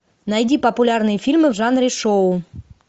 найди популярные фильмы в жанре шоу